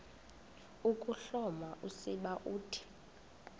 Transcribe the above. ukuhloma usiba uthi